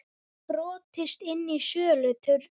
Brotist inn í söluturn